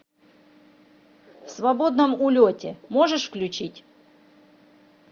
в свободном улете можешь включить